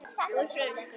Úr frönsku